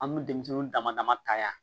An bɛ denmisɛnninw damadama ta yan